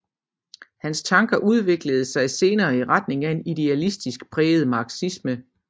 Hans tanker udviklede sig senere i retning af en idealistisk præget marxisme